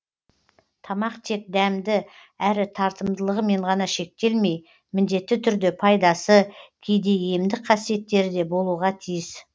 тамақ тек дәмді әрі тартымдылығымен ғана шектелмей міндетті түрде пайдасы кейде емдік қасиеттері де болуға тиіс